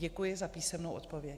Děkuji za písemnou odpověď.